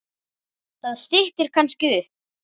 Það styttir kannski upp.